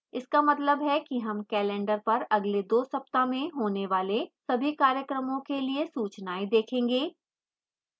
इसका मतलब है कि हम calendar पर अगले 2 सप्ताह में होने वाले सभी कार्यक्रमों के लिए सूचनाएं देखेंगे